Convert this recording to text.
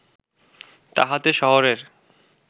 তাহাতে শহরের